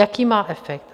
Jaký má efekt?